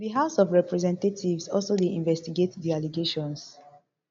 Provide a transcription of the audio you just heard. di house of representatives also dey investigate di allegations